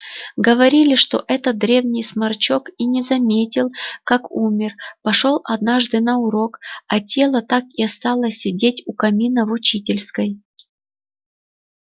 говорили что этот древний сморчок и не заметил как умер пошёл однажды на урок а тело так и осталось сидеть у камина в учительской